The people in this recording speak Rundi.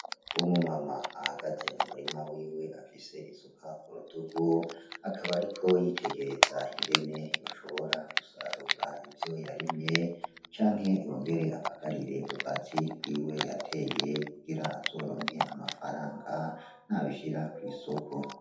Umu mama ahagaze mu murima wiwe ,afise isuka kurutugu akaba ariko aritereza ingene yoshobora gusarura ivyo yarimye ,canke yongere abagarire ubwatsi bwiwe yateye kugira azoronke amafaranga Nabishira kw'isoko.